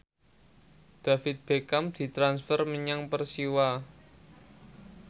David Beckham ditransfer menyang Persiwa